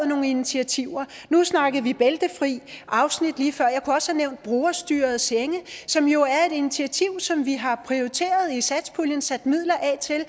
nogle initiativer nu snakkede vi bæltefrie afsnit lige før og jeg kunne også have nævnt brugerstyrede senge som jo er et initiativ som vi har prioriteret i satspuljen og sat midler af til